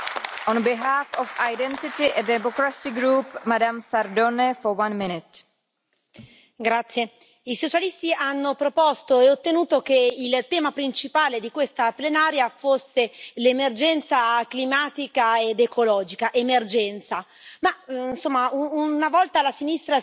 Signora Presidente, onorevoli colleghi, i socialisti hanno proposto e ottenuto che il tema principale di questa plenaria fosse l'emergenza climatica ed ecologica. Emergenza, ma insomma, una volta la sinistra si occupava dei più deboli, dei lavoratori, del popolo.